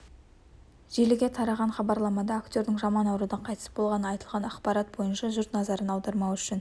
желіге тараған хабарламада актердің жаман аурудан қайтыс болғаны айтылған ақпарат бойынша жұрт назарын аудармау үшін